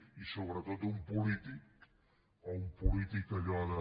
i sobretot un polític o un polític allò de